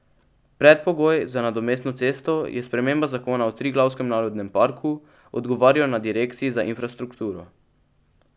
Predpogoj za nadomestno cesto je sprememba zakona o Triglavskem narodnem parku, odgovarjajo na direkciji za infrastrukturo.